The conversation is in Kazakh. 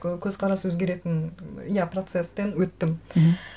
көзқарас өзгеретін иә процестен өттім мхм